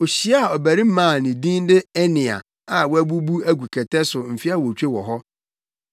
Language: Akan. ohyiaa ɔbarima bi a ne din de Enea a wabubu agu kɛtɛ so mfe awotwe wɔ hɔ.